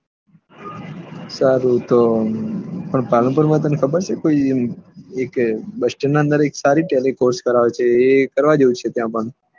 સારું તો પણ પાલનપુર માં તને ખબર છે કી એક બસ સ્ટેન્ડ ની અંદર સારી ટેલી કોર્ષ કરાવે છે એ કરાવે છે